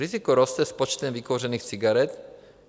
Riziko roste s počtem vykouřených cigaret.